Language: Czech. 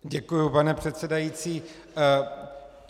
Děkuji, pane předsedající.